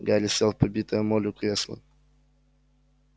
гарри сел в побитое молью кресло